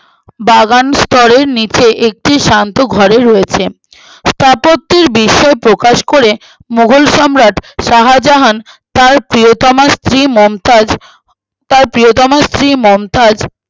বাগান স্তরের নিচে একটি শান্ত ঘরে রয়েছে স্থাপত্যের বিস্ময়ে প্রকাশ করে মোঘল সম্রাট শাহজাহান তার প্রিয়তমার স্ত্রী মমতাজ প্রিয়তমার স্ত্রী মমতাজ